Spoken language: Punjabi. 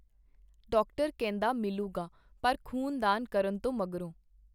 ਡਾਕਟਰ ਕਹਿੰਦਾ ਮਿਲੁਗਾ ਪਰ ਖ਼ੂਨਦਾਨ ਕਰਨ ਤੋਂ ਮਗਰੋਂ.